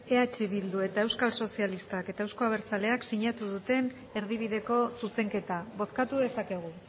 eh bildu euskal sozialistak eta euzko abertzaleak sinatu duten erdibideko zuzenketa bozkatu dezakegu